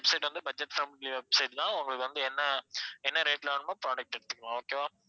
website வந்து budget friendly website தான் உங்களுக்கு வந்து என்ன என்ன rate ல வேணுமோ product எடுத்துக்கலாம் okay வா